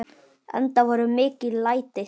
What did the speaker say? Enda voru mikil læti.